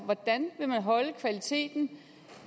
hvordan man vil holde kvaliteten